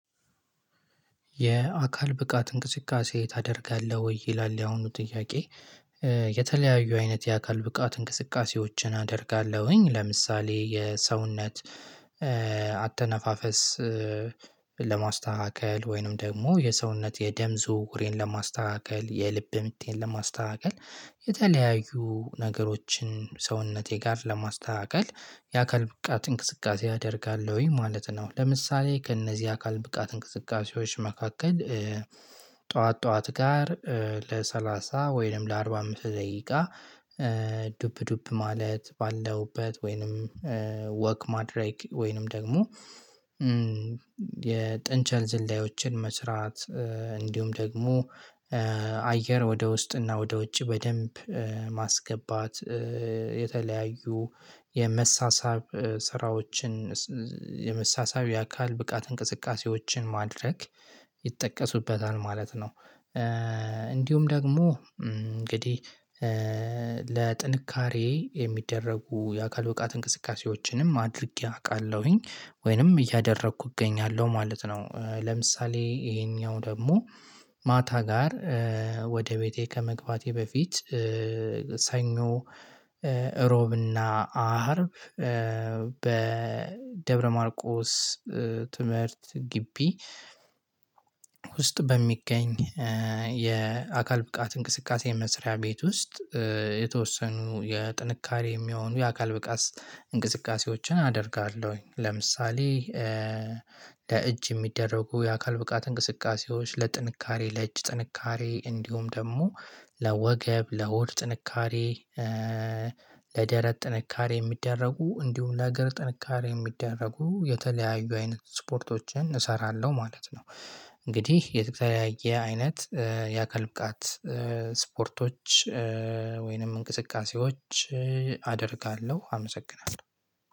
የአካል ብቃት እንቅስቃሴ ታደርጋለህ ወይ ይላል የአሁኑ ጥያቄ? የተለያዩ አይነት የአካል ብቃት እንቅስቃሴዎችን አደርጋለሁኝ ለምሳሌ የሰውነት አተነፋፈስ ለማስተካከል ወይንም ደግሞ የሰውነት የደም ዝውውሬን ለማስተካከል የልብ ምቴን ለማስተካከል የተለያዩ ነገሮችን ሰውነቴ ጋር ለማስተካከል የአካል ብቃት እንቅስቃሴ አደርጋለሁኝ ማለት ነው፤ ለምሳሌ ከእነዚህ አካል ብቃት እንቅስቃሴዎች መካከል ጠዋት ጠዋት ጋር ለሰላሳ ወይንም ለአርባ አምስት ደቂቃ ዱፕ ዱፕ ማለት ባለሁበት ወይንም ወክ ማድረግ ወይንም ደግሞ የጥንቸል ዝላዮችን መስራት እንዲሁም ደግሞ አየር ወደ ውስጥና ወደ ውጭ በደንብ ማስገባት የተለያዩ የመሳሳብ ስራዎችን የመሳሳቢያ አካል ብቃት እንቅስቃሴዎችን ማድረግ ይጠቀሱበታል ማለት ነው። እንዲሁም ደግሞ እንግዲህ ለጥንካሬ የሚደረጉ የአካል ብቃት እንቅስቃሴዎችንም አድርጌ አውቃለሁኝ ወይንም እያደረኩ እገኛለሁ ማለት ነው። ለምሳሌ ይሄኛው ደግሞ ማታ ጋር ወደ ቤቴ ከመግባቴ በፊት ሰኞ እሮብና አርብ በደብረማርቆስ ትምህርት ግቢ ውስጥ በሚገኝ የአካል ብቃት እንቅስቃሴ የመስሪያ ቤት ውስጥ የተወሰኑ የጥንካሬ የሚሆኑ የአካል ብቃት እንቅስቃሴዎችን አደርጋለሁኝ። ለምሳሌ ለእጅ የሚደረጉ የአካል ብቃት እንቅስቃሴዎች ለጥንካሬ ለእጅ ጥንካሬ እንዲሁም ደግሞ ለወገብ ለሆድ ጥንካሬ ለደረት ጥንካሬ የሚደረጉ እንዲሁም ለእግር ጥንካሬ የሚደረጉ የተለያዩ አይነት ስፖርቶችን እሰራለሁ ማለት ነው፤ እንግዲህ የተለያየ አይነት የአካል ብቃት ስፖርቶች ወይንም እንቅስቃሴዎች አደርጋለሁ አመሰግናለሁ።